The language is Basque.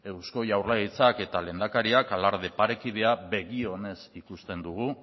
eusko jaurlaritzak eta lehendakariak alarde parekidea begionez ikusten dugu